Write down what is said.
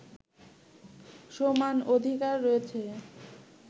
সমান অধিকার রয়েছে